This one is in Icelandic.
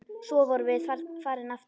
Svo vorum við farin aftur.